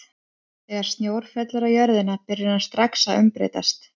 Þegar snjór fellur á jörðina byrjar hann strax að umbreytast.